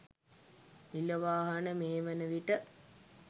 නිල වාහන මේ වන විට